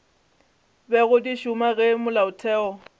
bego di šoma ge molaotheo